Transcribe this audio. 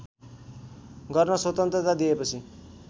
गर्न स्वतन्त्रता दिएपछि